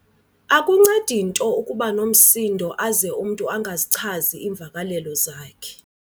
Akuncedi nto ukuba nomsindo aze umntu angazichazi iimvakalelo zakhe.